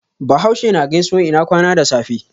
Bahaushe na gaisuwan ina kwana da safe.